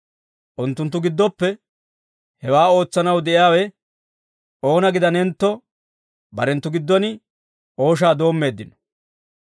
Unttunttu giddoppe hewaa ootsanaw de'iyaawe oona gidanentto, barenttu giddon ooshaa doommeeddino.